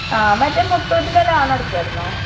ആ മറ്റെ മുത്തൂറ്റിന്റെ ലോൺ അടച്ചായിരുന്നോ?